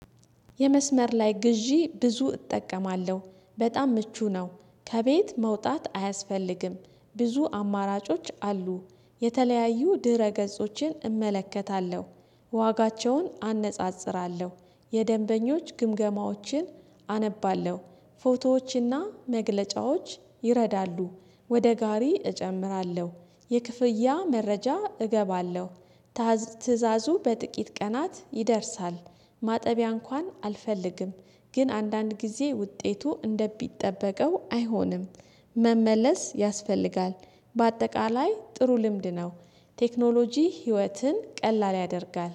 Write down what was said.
የመስመር ላይ ግዢ ብዙ እጠቀማለሁ በጣም ምቹ ነው። ከቤት መውጣት አያስፈልግም ብዙ አማራጮች አሉ። የተለያዩ ድህረ ገጾችን እመለከታለሁ ዋጋቸውን አነጻጽራለሁ የደንበኞች ግምገማዎችን አነባለሁ ፎቶዎችና መግለጫዎች ይረዳሉ ወደ ጋሪ እጨምራለሁ የክፍያ መረጃ እገባለሁ ትእዛዙ በጥቂት ቀናት ይደርሳል ማጠቢያ እንኳን አልፈልግም ግን አንዳንድ ጊዜ ውጤቱ እንደቢጠበቀው አይሆንም መመለስ ያስፈልጋል በአጠቃላይ ጥሩ ልምድ ነው። ቴክኖሎጂ ህይወትን ቀላል ያደርጋል።